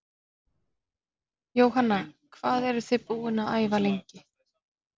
Jóhanna: Hvað eruð þið búin að æfa lengi?